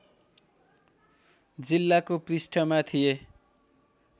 जिल्लाको पृष्ठमा थिए